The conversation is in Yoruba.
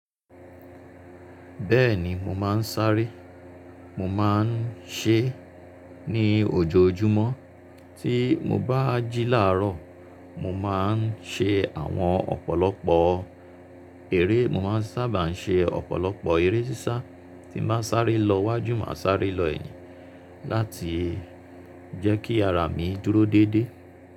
Bẹ́ẹ̀ni mo máa ń sáré, mo máa ń ṣẹ́ ní ojoojúmọ́. Tí mo bá jí láàárọ̀, mo máa ń ṣe àwọn ọ̀pọ̀lọpọ̀ eré, mo máa ń sábà ṣe ọ̀pọ̀lọpọ̀ eré sísá tí ń bá sáré lọ wájú, máa sáré lọ ẹ̀yìn láti jẹ́ kí ara mi dúró déédé.